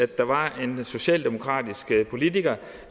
der var en socialdemokratisk politiker